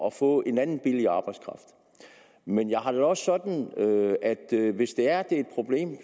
at få en anden billig arbejdskraft men jeg har det også sådan at hvis det er et problem